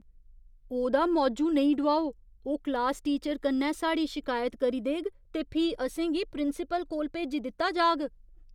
ओह्दा मौजू नेईं डोआओ। ओह् क्लास टीचर कन्नै साढ़ी शिकायत करी देग ते फ्ही असें गी प्रिंसिपल कोल भेजी दित्ता जाह्ग।